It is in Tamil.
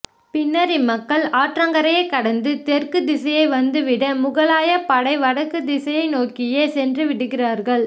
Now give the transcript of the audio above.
பின்னர் இம்மக்கள் ஆற்றங்கரையை கடந்து தெற்கு திசை வந்து விட முகலாய படை வடக்கு திசை நோக்கியே சென்று விடுகிறார்கள்